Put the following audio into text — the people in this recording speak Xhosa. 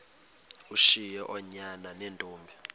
ushiye oonyana neentombi